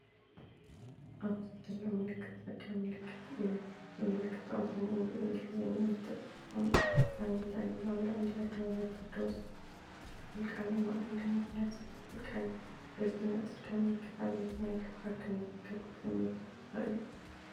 ኣብዚ ዘሎ ምልክት ጽርግያ ምልክት እዩ። እቲ ምልክት ብኣምሓርኛን እንግሊዝኛን ዝተጻሕፈ ሓበሬታ ኣለዎ። ኣብ ላዕሊ“ኣደባባይ ቴዎድሮስ” ዝብል ቃል ኣብ ማእከል ድማ “ፒያሳ” ዝብል ቃል ኣሎ። እዚ ናይ ጽርግያ ምልክት ኣብ ኣየናይ ክፋል ከም ዝርከብ ክትግምቱ ትኽእሉ?